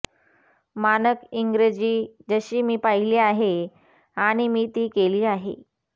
मानक इंग्रजी जशी मी पाहिली आहे आणि मी ती केली आहे